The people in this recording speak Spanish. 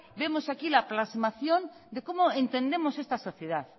vemos aquí la plasmación de cómo entendemos esta sociedad